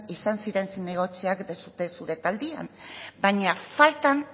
izan ziren zinegotziak zure taldean baina faltan